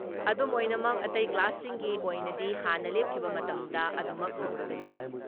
ꯑꯗꯨꯝꯑꯣꯏꯅꯃꯛ ꯑꯇꯩ ꯀ꯭ꯂꯥꯁꯁꯤꯡꯒꯤ ꯑꯣꯏꯅꯗꯤ ꯍꯥꯟꯅ ꯂꯦꯞꯈꯤꯕ ꯃꯇꯝꯗ ꯑꯗꯨꯃꯛ ꯍꯧꯔꯒꯅꯤ ꯫